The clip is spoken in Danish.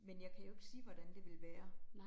Men jeg kan jo ikke sige, hvordan det ville være